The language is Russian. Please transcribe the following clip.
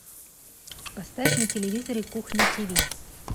поставь на телевизоре кухня тв